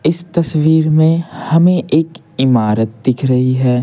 इस तस्वीर में हमें एक इमारत दिख रही है।